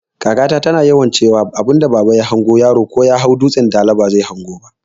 Kaka ta tana yawan ciwa abunda baba ya hango yaro ko Yahau dutsan dala bazai hango ba